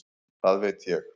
Það veit ég